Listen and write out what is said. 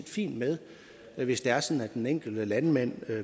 fint med hvis det er sådan at den enkelte landmand